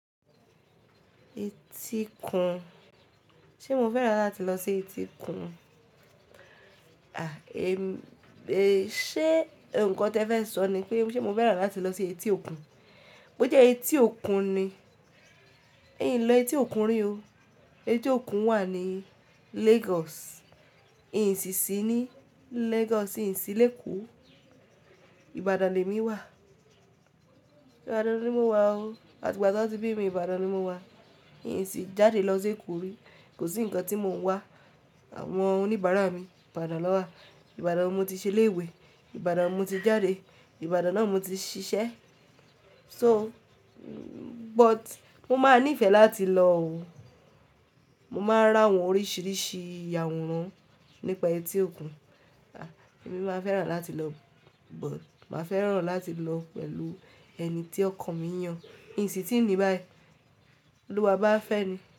Etí Kun. Ṣé mo fẹ́ràn láti lọ sí Etí Kun? À, ẹ, ẹ̀, ṣé nǹkan tí ẹ fẹ́ sọ ni pé ṣe mo fẹ́ràn láti lọ sí Etí Òkun? Bó jẹ́ Etí Òkun ni, n lọ Etí Òkun rí o. Etí Òkun wà ní Lagos. Nǹ sì sì ní Lagos. Nǹ sì sí Lẹ́ko Ìbàdàn ni èmi wà. Ìbàdàn ni mo wà o. Àti ìgbà tí wọ́n ti bí mi, Ìbàdàn ni mo wà. Nǹ sì jáde lọ sí Èkó rí. Kò sí ǹkan tí mò ń wá. Àwọn oníbàárà mi, Ìbàdàn ló wà. Ìbàdàn ni mo ti ṣẹ ilé ìwé. Ìbàdàn mo ti jáde. Ìbàdàn náà mo ti ṣiṣẹ́. So, but mó máa níìfẹ̀ láti lọ o. Mó máa ra àwọn oríṣìíríṣìí àwòrán nípa Etí Òkun. À, èmi máa fẹ́ràn láti lọ, but máa fẹ́ràn láti lọ pẹ̀lú ẹni tí ọkàn mi ń yàn. Nǹ sì ti ni báyìí. Olúwa bá fẹ́ ni.